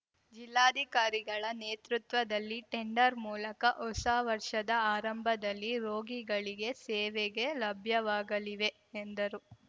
ಜಿಲ್ಲಾಧಿಕಾರಿಗಳ ನೇತೃತ್ವದಲ್ಲಿ ಟೆಂಡರ್‌ ಮೂಲಕ ಹೊಸ ವರ್ಷದ ಆರಂಭದಲ್ಲಿ ರೋಗಿಗಳಿಗೆ ಸೇವೆಗೆ ಲಭ್ಯವಾಗಲಿವೆ ಎಂದರು